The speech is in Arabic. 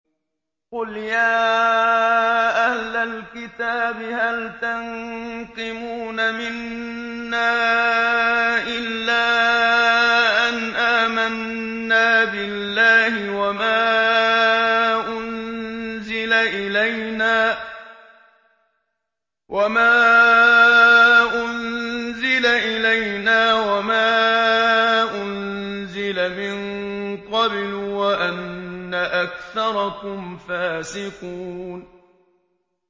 قُلْ يَا أَهْلَ الْكِتَابِ هَلْ تَنقِمُونَ مِنَّا إِلَّا أَنْ آمَنَّا بِاللَّهِ وَمَا أُنزِلَ إِلَيْنَا وَمَا أُنزِلَ مِن قَبْلُ وَأَنَّ أَكْثَرَكُمْ فَاسِقُونَ